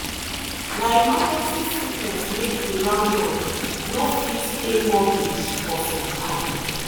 na emergency sickness make the landlord no fit pay mortgage for some time.